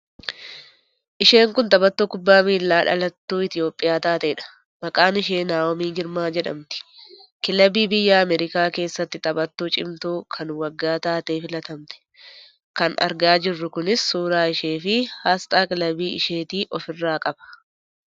Isheen kun taphattuu kubbaa miilaa dhalattuu Itiyoophiyaa taateedha. Maqaan ishee Naahomii Girmaa jedhamati. Kilabii biyya Ameerikaa keessatti taphattuu cimtuu kan waggaa taatee filatamte. Kan arga jirruu kunis suuraa isheefi aasxaa kilabii isheetii ofirraa qaba.